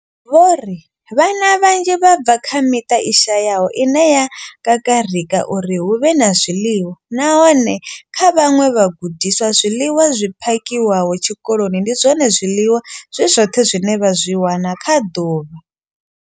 Vho ri vhana vhanzhi vha bva kha miṱa i shayaho ine ya kakarika uri hu vhe na zwiḽiwa, nahone kha vhaṅwe vhagudiswa, zwiḽiwa zwi phakhiwaho tshikoloni ndi zwone zwiḽiwa zwi zwoṱhe zwine vha zwi wana kha ḓuvha.